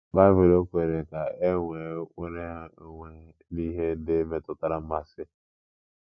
Baịbụl ọ̀ kwere ka é nweé nnwere onwe n'ihe ndị metụtara mmasị?